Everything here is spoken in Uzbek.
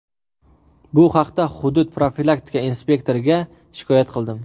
Bu haqda hudud profilaktika inspektoriga shikoyat qildim.